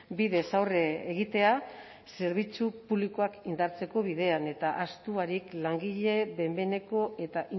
bidez aurre egitea zerbitzu publikoak indartzeko bidean eta ahaztu barik langile behin behineko eta